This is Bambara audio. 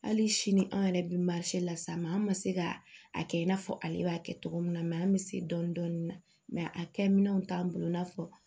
Hali sini an yɛrɛ bɛ las'a ma an ma se ka a kɛ i n'a fɔ ale b'a kɛ cogo min na an bɛ se dɔɔnin dɔɔnin mɛ a kɛminɛnw t'an bolo i n'a fɔ